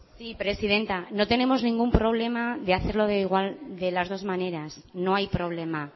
sí presidenta no tenemos ningún problema de hacerlo de las dos maneras no hay problema